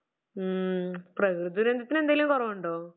മ് പ്രകൃതി ദുരന്തത്തിന് എന്തെലും കുറവുണ്ടോ?